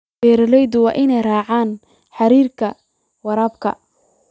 Beeralayda waa inay raacaan xeerarka waraabka.